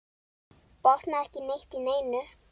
Botnaði ekki neitt í neinu.